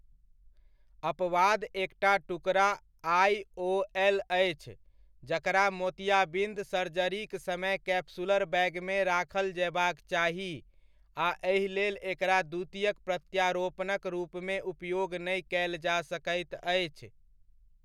अपवाद एकटा टुकड़ा आइओएल अछि, जकरा मोतियाबिन्द सर्जरीक समय कैप्सुलर बैगमे राखल जयबाक चाही आ एहिलेल एकरा द्वितीयक प्रत्यारोपणक रूपमे उपयोग नहि कयल जा सकैत अछि।